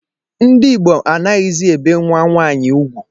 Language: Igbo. Ndị Igbo anaghịzi ebe nnwa nwaanyi ugwu